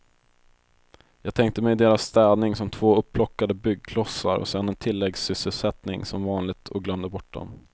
Jag tänkte mig deras städning som två upplockade byggklossar och sen en tilläggssysselsättning som vanligt och glömde bort dom.